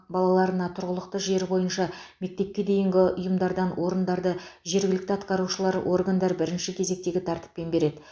балаларына тұрғылықты жері бойынша мектепке дейінгі ұйымдардан орындарды жергілікті атқарушылар органдар бірінші кезектегі тәртіппен береді